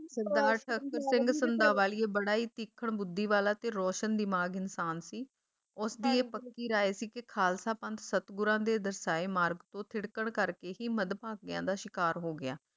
ਸਰਦਾਰ ਸਿੰਘ ਬੜਾ ਹੀ ਤਿੱਖੜ ਬੁੱਧੀ ਵਾਲਾ ਤੇ ਰੋਸ਼ਨ ਦਿਮਾਗ ਇਨਸਾਨ ਸੀ, ਉਸਦੀ ਇਹ ਪੱਕੀ ਰਾਇ ਸੀ ਕੇ ਖਾਲਸਾ ਪੰਥ ਸਤਿਗੁਰਾਂ ਦੇ ਦਰਸਾਏ ਮਾਰਗ ਤੋਂ ਥਿੜਕਣ ਕਰਕੇ ਹੀ ਮਧਭਾਗੀਆਂ ਦਾ ਸ਼ਿਕਾਰ ਹੋ ਗਿਆ।